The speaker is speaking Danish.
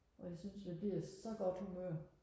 og jeg synes jeg bliver så godt humør